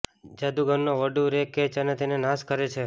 જાદુગરનો voodoo ray catch અને તેને નાશ કરે છે